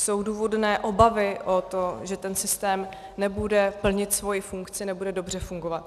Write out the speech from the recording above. Jsou důvodné obavy o to, že ten systém nebude plnit svoji funkci, nebude dobře fungovat.